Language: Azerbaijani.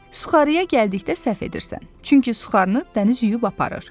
Suxarıya gəldikdə səhv edirsən, çünki suxarını dəniz yuyub aparır.